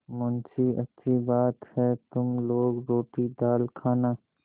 मुंशीअच्छी बात है तुम लोग रोटीदाल खाना